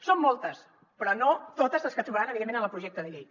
són moltes però no totes les que trobaran evidentment en el projecte de llei